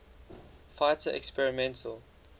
fighter experimental